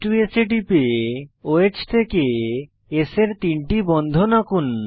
h2স্ এ টিপে ওহ থেকে S এর তিনটি বন্ধন আঁকুন